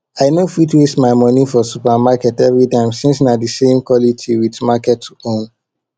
i no fit waste my money for supermarket everytime since na de same quality with market own